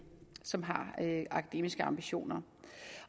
som har akademiske ambitioner